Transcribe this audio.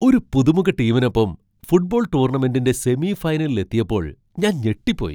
ഒരു പുതുമുഖ ടീമിനൊപ്പം ഫുട്ബോൾ ടൂർണമെന്റിന്റെ സെമി ഫൈനലിലെത്തിയപ്പോൾ ഞാൻ ഞെട്ടിപ്പോയി.